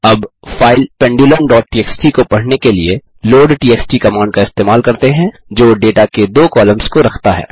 अब file pendulum TXT को पढ़ने के लिए लोडटीएक्सटी कमांड का इस्तेमाल करते हैं जो डेटा के दो कॉलम्स को रखता है